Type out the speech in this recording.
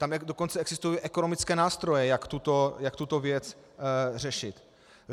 Tam dokonce existují ekonomické nástroje, jak tuto věc řešit.